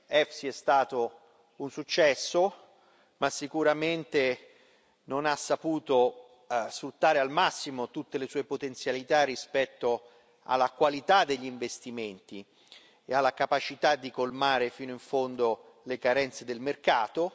EFSI è stato un successo, ma sicuramente non ha saputo sfruttare al massimo tutte le sue potenzialità rispetto alla qualità degli investimenti e alla capacità di colmare fino in fondo le carenze del mercato.